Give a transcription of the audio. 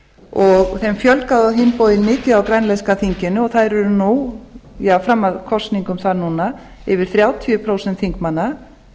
og þeim fjölgaði á hinn bóginn mikið á grænlenska þinginu og þær eru fram að kosningum þar núna yfir þrjátíu prósent þingmanna